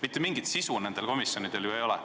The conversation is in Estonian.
Mitte mingit sisu nendel komisjonidel ju ei ole.